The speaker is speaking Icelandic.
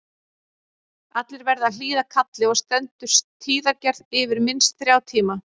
Allir verða að hlýða kalli og stendur tíðagerð yfir minnst þrjá tíma.